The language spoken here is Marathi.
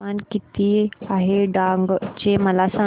तापमान किती आहे डांग चे मला सांगा